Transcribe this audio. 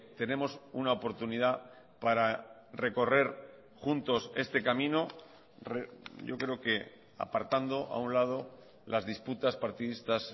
tenemos una oportunidad para recorrer juntos este camino yo creo que apartando a un lado las disputas partidistas